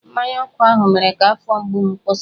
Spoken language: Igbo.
Mmanya ọkụ ahụ mere ka afọ mgbu m kwụsị.